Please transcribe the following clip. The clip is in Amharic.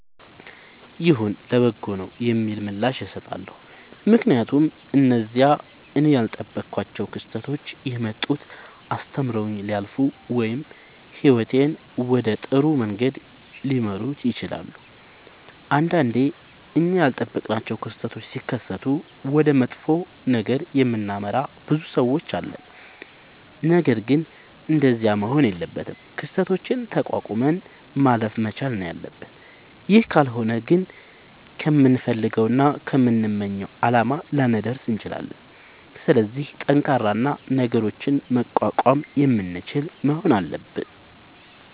ይሁን ለበጎ ነዉ የሚል ምላሽ እሠጣለሁ። ምክንያቱም እነዚያ እኔ ያልጠበኳቸዉ ክስተቶች የመጡት አስተምረዉኝ ሊያልፉ ወይም ህይወቴን ወደ ጥሩ መንገድ ሊመሩት ይችላሉ። ንዳንዴ እኛ ያልጠበቅናቸዉ ክስተቶች ሢከሠቱ ወደ መጥፎ ነገር የምናመራ ብዙ ሠዎች አለን። ነገርግን እንደዚያ መሆን የለበትም። ክስተቶችን ተቋቁመን ማለፍ መቻል ነዉ ያለብን ይህ ካልሆነ ግን ከምንፈልገዉና ከምንመኘዉ አላማ ላንደርስ እንችላለን። ስለዚህ ጠንካራ እና ነገሮችን መቋቋም የምንችል መሆን አለብን።